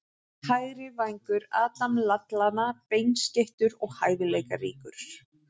Hægri vængur- Adam Lallana Beinskeyttur og hæfileikaríkur.